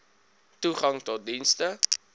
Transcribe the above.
toegang tot dienste